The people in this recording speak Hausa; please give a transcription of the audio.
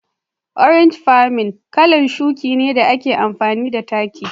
" organic farming' kalan shuki ne da ake amfani da taki.